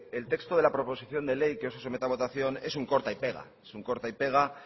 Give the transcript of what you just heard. el texto de la proposición de ley que hoy se somete a votación es un corta y pega es un corta y pega